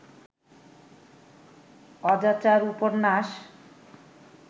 অজাচার উপন্যাস